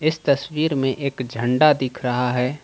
इस तस्वीर में एक झंडा दिख रहा है।